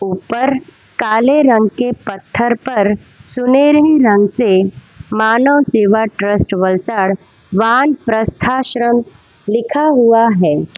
ऊपर काले रंग के पत्थर पर सुनहरी रंग से मानव सेवा ट्रस्ट वलसड वान प्रस्थाश्रम लिखा हुआ है।